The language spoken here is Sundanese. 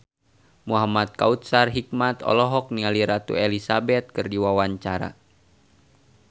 Muhamad Kautsar Hikmat olohok ningali Ratu Elizabeth keur diwawancara